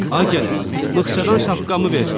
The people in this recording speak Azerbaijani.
Ay gəlin, mıxçadan şapkamı ver.